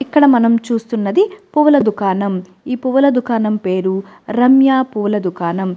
ఇక్కడ మనం చూస్తున్నది పూల దుకాణం ఈ పూల దుకాణం పేరు రమ్య పూల దుకాణం.